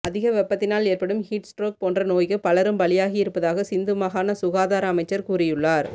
அதிக வெப்பத்தினால் ஏற்படும் ஹீட் ஸ்ட்ரோக் போன்ற நோய்க்கு பலரும் பலியாகியிருப்பதாக சிந்து மாகாண சுகாதார அமைச்சர் கூறியுள்ளார்